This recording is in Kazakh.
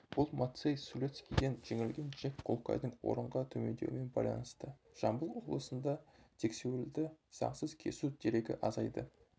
бұл мацей сулецкиден жеңілген джек кулкайдың орынға төмендеуімен байланысты жамбыл облысында сексеуілді заңсыз кесу дерегі азайды